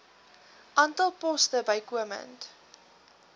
aantal poste bykomend